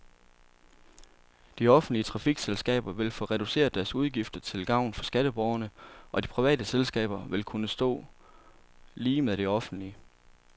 De offentlige trafikselskaber vil få reduceret deres udgifter til gavn for skatteborgerne, og de private selskaber vil kunne stå lige med de offentlige.